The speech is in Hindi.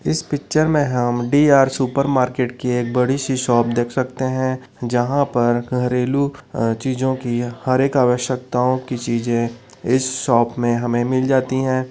इस पिक्चर मे हम डी आर सुपर मार्केट की एक बड़ी सी शॉप देख सकते है जहां पर घरेलू चीजों की हर एक आवश्यकताओं की चीजे इस शॉप मे हमे मिल जाती है।